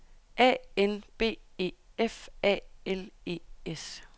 A N B E F A L E S